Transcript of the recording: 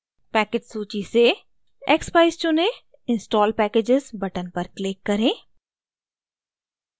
package सूची से expeyes चुनें install packages button पर click करें